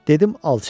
Dedim alça.